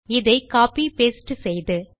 இதை copy paste செய்து